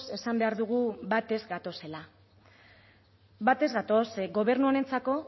esan behar dugu bat ez gatozela bat ez gatoz ze gobernu honentzako